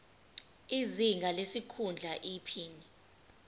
izinga lesikhundla iphini